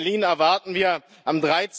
In Berlin erwarten wir am